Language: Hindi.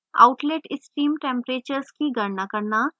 outlet stream temperatures की गणना करना